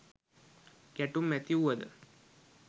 ගැටුම් ඇති වුවද